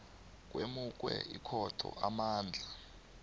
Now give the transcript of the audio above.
kwemukwe ikhotho amandla